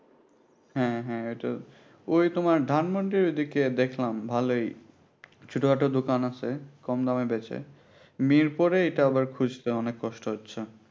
হ্যাঁ হ্যাঁ ওটো ওই তোমার ধানমুন্ডির ওইদিকে দেখলাম ভালোই ছোটখাটো দোকান আছে কম দামে ব্যাচে মিরপুরে এটা আবার খুঁজতে অনেক কষ্ট হচ্ছে